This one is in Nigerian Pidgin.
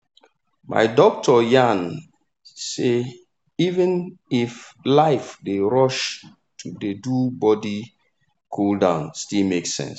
my doctor yarn say even if life dey rush to dey do body cool-down still make sense.